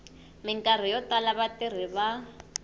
mikarhi yo tala vatirhi va